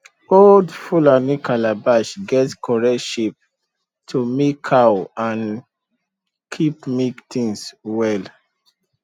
old fulani calabash get correct shape to milk cow and keep milk things well